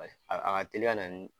a ka teli ka na ni.